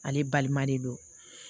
Ale balima de don